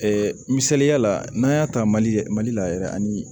misaliya la n'an y'a ta mali mali la yɛrɛ ani